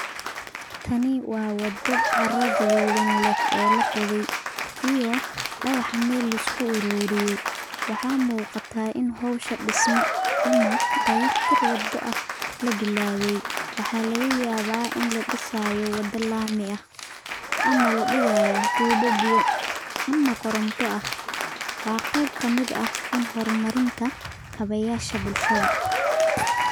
Taani wa wado caraa gadudan leh, oo lagoday iyo daqah mel liskuaruriyey, waxa mugataa in xowsha dismada ama dayaq tir wado ah labilabay, waxa lagayawaba in ladisayo wada lami ah, ama ladigayo tubaa, ama koronto ah, wa qeb kamid ah in hormarinta kabayasha bulshada.